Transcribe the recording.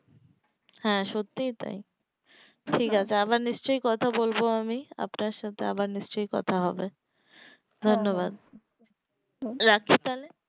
হ্যাঁ সত্যি তাই আবার নিশ্চয় কথা বলবো আমি আপনার সাথে আবার নিশ্চয় কথা হবে ধন্যবাদ রাখছি তাহলে